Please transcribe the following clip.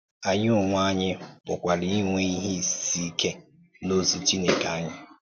Ànyì onwe ànyì pụ̀kwara ínwè ìhè ísì ìké n’òzì Chìnèkè ànyì.